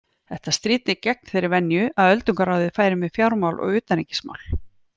Þetta stríddi gegn þeirri venju að öldungaráðið færi með fjármál og utanríkismál.